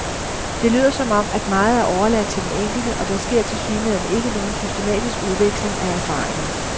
Det lyder som om, at meget er overladt til den enkelte, og der sker tilsyneladende ikke nogen systematisk udveksling af erfaringer.